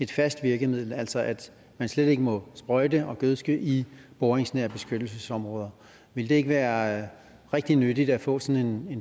fast virkemiddel altså at man slet ikke må sprøjte og gødske i boringsnære beskyttelsesområder ville det ikke være rigtig nyttigt at få sådan